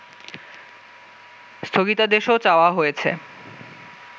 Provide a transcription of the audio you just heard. স্থগিতাদেশও চাওয়া হয়েছে